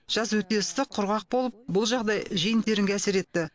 жаз өте ыстық құрғақ болып бұл жағдай жиын терінге әсер етті